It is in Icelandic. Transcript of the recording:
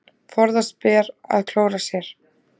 Forðast ber að klóra sér.